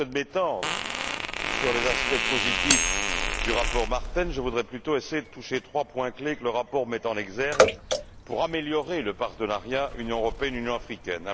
Plutôt que de m'étendre sur les aspects positifs du rapport Martens, je voudrais plutôt essayer de toucher trois points clés que le rapport met en exergue pour améliorer le partenariat Union européenne Union africaine.